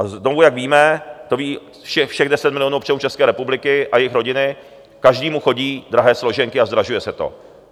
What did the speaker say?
A znovu, jak víme, to ví všech deset milionů občanů České republiky a jejich rodiny, každému chodí drahé složenky a zdražuje se to.